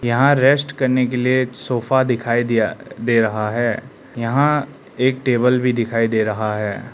यहां रेस्ट करने के लिए सोफा दिखाई दिया दे रहा है यहां एक टेबल भी दिखाई दे रहा है।